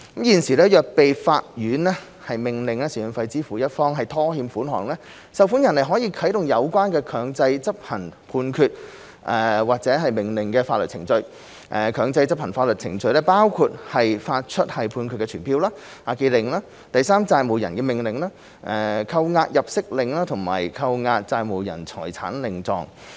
現時，倘若被法院命令支付贍養費的一方拖欠款項，受款人可啟動有關強制執行判決或命令的法律程序，強制執行法律程序包括發出判決傳票、押記令、第三債務人的命令、扣押入息令和扣押債務人財產令狀。